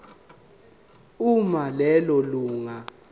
uma lelo lunga